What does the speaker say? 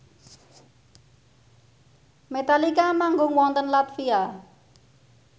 Metallica manggung wonten latvia